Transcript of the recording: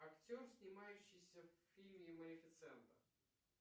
актер снимающийся в фильме малифисента